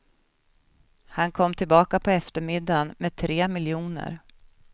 Han kom tillbaka på eftermiddagen med tre miljoner.